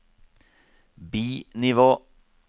bi-nivå